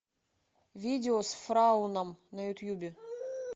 видео с фрауном на ютубе